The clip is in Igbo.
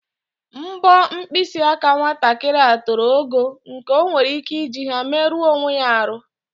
Mpọ mpkịsị aka nwatakịrị a toro ogo nke o nwere ike iji ha meruo onwe ya arụ.